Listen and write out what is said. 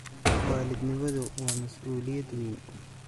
Waalidnimadu waa masuuliyad weyn.